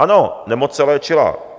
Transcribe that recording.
Ano, nemoc se léčila.